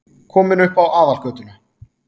Kominn upp á aðalgötuna.